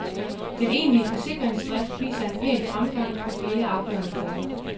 Den egentlige forsikringsdrift viser en pæn fremgang på flere afgørende punkter.